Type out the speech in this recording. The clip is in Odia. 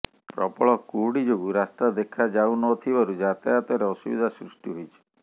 ପ୍ରବଳ କୁହୁଡି ଯୋଗୁଁ ରାସ୍ତା ଦେଖା ଯାଉ ନ ଥିବାରୁ ଯାତାୟାତରେ ଅସୁବିଧା ସୃଷ୍ଟି ହୋଇଛି